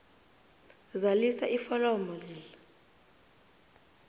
zalisa iforomo dl